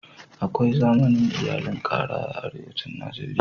Akwai zaman iyalin ƙara a arewacin Najeriya.